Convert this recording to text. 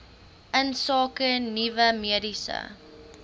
insake nuwe mediese